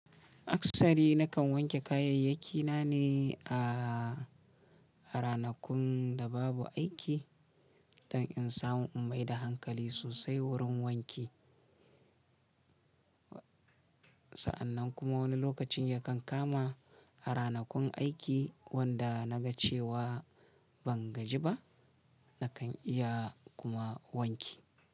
Aksari nakan wanke kayayyakina ne a, a ranakun da babu aiki don in samu in maida hankali sosai wurin wanki. Sa'annan kuma wani lokacin yakan kama a ranakun aiki wanda na ga cewa ban gaji ba, nakan iya kuma wanki.